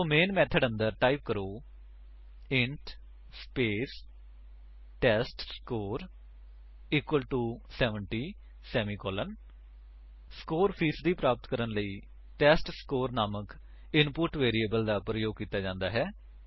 ਸੋ main method ਦੇ ਅੰਦਰ type ਕਰੋ int space test score equal to 70 semicolon score ਫ਼ੀਸਦੀ ਪ੍ਰਾਪਤ ਕਰਨ ਲਈ ਟੈਸਟਸਕੋਰ ਨਾਮਕ ਇਨਪੁਟ ਵੈਰਿਏਬਲ ਦਾ ਪ੍ਰਯੋਗ ਕੀਤਾ ਜਾਂਦਾ ਹੈ